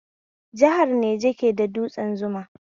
Jihar Niger ke da dutsen Zuma